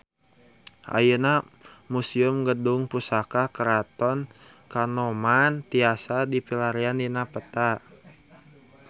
Ayeuna Museum Gedung Pusaka Keraton Kanoman tiasa dipilarian dina peta